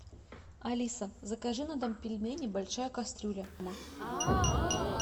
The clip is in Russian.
алиса закажи на дом пельмени большая кастрюля